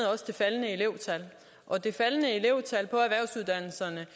det faldende elevtal og det faldende elevtal på erhvervsuddannelserne